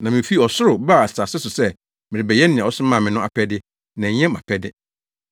Na mifi ɔsoro baa asase so sɛ merebɛyɛ nea ɔsomaa me no apɛde, na ɛnyɛ mʼapɛde.